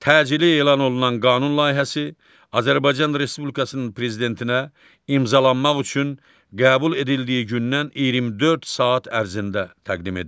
Təcili elan olunan qanun layihəsi Azərbaycan Respublikasının prezidentinə imzalanmaq üçün qəbul edildiyi gündən 24 saat ərzində təqdim edilir.